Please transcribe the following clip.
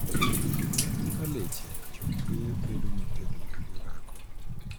Mana kaka leche, choke bedo motegno gi orako.